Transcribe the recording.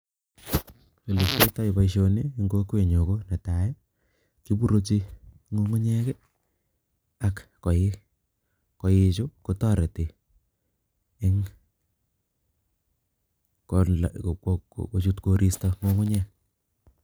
boisioni ing' kokwenyo ko netai, kiburuchi ng'ung'unyek ak koik, koichu kotareti ing' kochut koristo ng'ung'unyek